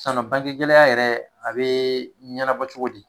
Sisan nɔn bange gɛlɛya yɛrɛ a be ɲɛnabɔ cogo di ?